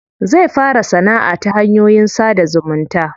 Zai fara sanaʼa ta hanyoyin sada zumunta.